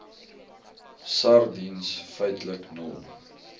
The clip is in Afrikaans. sardiens feitlik nul